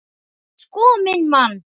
Sko minn mann!